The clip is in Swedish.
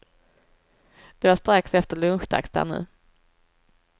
Det var strax efter lunchdags där nu.